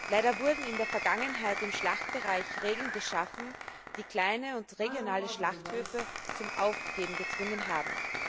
Leider wurden in der Vergangenheit im Schlachtbereich Regeln geschaffen, die kleine und regionale Schlachthöfe zum Aufgeben gezwungen haben.